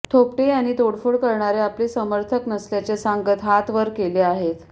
थोपटे यांनी तोडफोड करणारे आपले समर्थक नसल्याचे सांगत हात वर केले आहेत